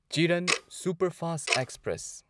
ꯆꯤꯔꯟ superfast express